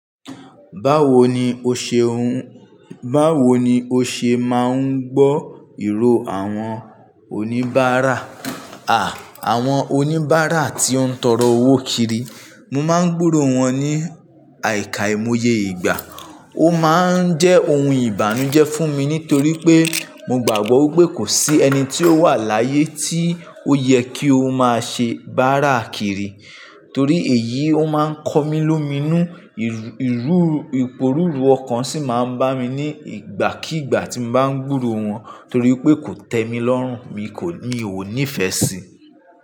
Báwo ni o ṣe máa ń gbọ́ ìró àwọn oníbàárà, à, àwọn oníbàárà tí ó ń tọrọ owó kiri? Mo máa ń gbúrò wọ́n ní àìkàìmoye ìgbà. Ó máa ń jẹ́ ohun ìbànújẹ́ fún mi nítorí pé mo gbàgbọ́ wipé kò sí ẹni tí ó wà láyé tí ó yẹ kí ó máa ṣe báárà kiri. Torí èyí ó máa ń kọ mí lómìnú, iporuru ọkàn sì máa ń bá mi ní ìgbàkígbà tí mo bá ń gbúrò wọ́n torí pé kò tẹ mi lọ́rùn, mi kò mi o ònífẹ́ sì i.